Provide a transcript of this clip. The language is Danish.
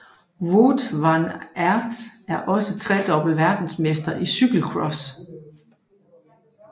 Wout Van Aert er også tredobbelt verdensmester i cykelcross